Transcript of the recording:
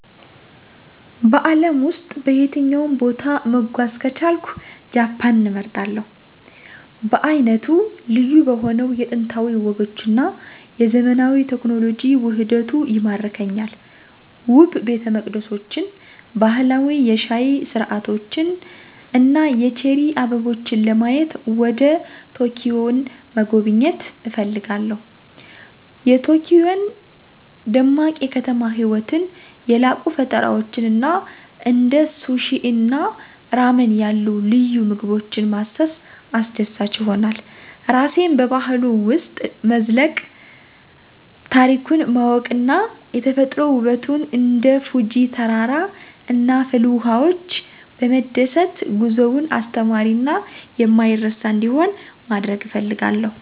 በአለም ውስጥ በየትኛውም ቦታ መጓዝ ከቻልኩ ጃፓንን እመርጣለሁ. በዓይነቱ ልዩ በሆነው የጥንታዊ ወጎች እና የዘመናዊ ቴክኖሎጂ ውህደቱ ይማርከኛል። ውብ ቤተመቅደሶችን፣ ባህላዊ የሻይ ሥርዓቶችን እና የቼሪ አበቦችን ለማየት ወደ ኪዮቶን መጎብኘት እፈልጋለሁ። የቶኪዮ ደማቅ የከተማ ህይወትን፣ የላቁ ፈጠራዎችን እና እንደ ሱሺ እና ራመን ያሉ ልዩ ምግቦችን ማሰስ አስደሳች ይሆናል። ራሴን በባህሉ ውስጥ መዝለቅ፣ ታሪኩን ማወቅ እና የተፈጥሮ ውበቱን እንደ ፉጂ ተራራ እና ፍልውሃዎች በመደሰት ጉዞውን አስተማሪ እና የማይረሳ እንዲሆን ማድረግ እፈልጋለሁ።